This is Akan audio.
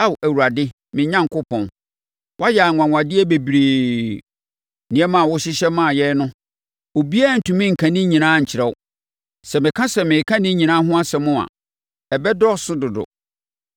Ao Awurade me Onyankopɔn woayɛ anwanwadeɛ bebree. Nneɛma a wohyehyɛ maa yɛn no obiara ntumi nka ne nyinaa nkyerɛ wo; sɛ meka sɛ mereka ne nyinaa ho asɛm a ɛbɛdɔɔso dodo.